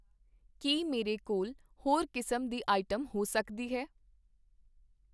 ਕੀ ਮੇਰੇ ਕੋਲ ਹੋਰ ਕਿਸਮ ਦੀ ਆਈਟਮ ਹੋ ਸਕਦੀ ਹੈ?